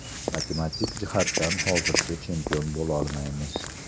Matematik jihatdan hozircha chempion bo‘lolmaymiz.